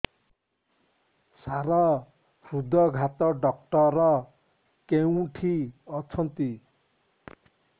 ସାର ହୃଦଘାତ ଡକ୍ଟର କେଉଁଠି ଅଛନ୍ତି